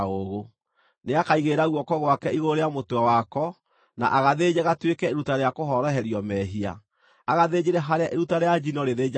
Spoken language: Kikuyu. Nĩakaigĩrĩra guoko gwake igũrũ rĩa mũtwe wako, na agathĩnje gatuĩke iruta rĩa kũhoroherio mehia, agathĩnjĩre harĩa iruta rĩa njino rĩthĩnjagĩrwo.